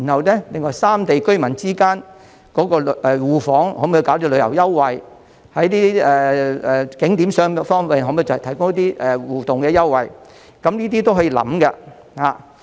然後，三地居民之間的互訪亦可以推出旅遊優惠，在景點上的方便可否提供互動的優惠，這些都是可以考慮的。